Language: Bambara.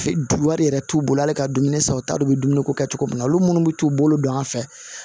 wari yɛrɛ t'u bolo hali ka dumuni san u t'a dɔn u bɛ dumuni ko kɛ cogo min na olu minnu bɛ t'u bolo don an fɛ